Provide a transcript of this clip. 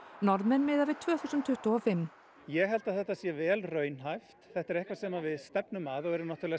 Norðmenn miða við tvö þúsund tuttugu og fimm ég held að þetta sé vel raunhæft þetta er eitthvað sem við stefnum að og eru